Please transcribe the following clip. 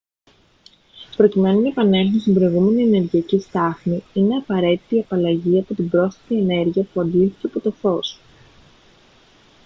προκειμένου να επανέλθουν στην προηγούμενη ενεργειακή στάθμη είναι απαραίτητη η απαλλαγή από την πρόσθετη ενέργεια που αντλήθηκε από το φως